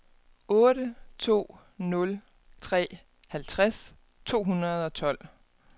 otte to nul tre halvtreds to hundrede og tolv